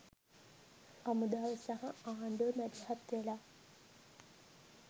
හමුදාව සහ ආණ්ඩුව මැදිහත් වෙලා